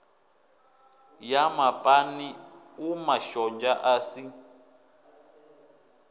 ya mapani umashonzha a si